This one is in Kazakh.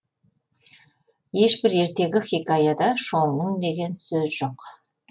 ешбір ертегі хикаяда шоңның деген сөз жоқ